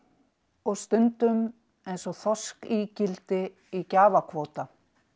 og stundum eins og þorskígildi í gjafakvóta